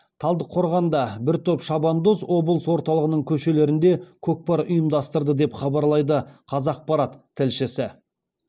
талдықорғанда бір топ шабандоз облыс орталығының көшелерінде көкпар ұйымдастырды деп хабарлайды қазақпарат тілшісі